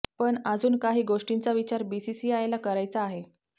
पण अजून काही गोष्टींचा विचार बीसीसीआयला करायचा आहे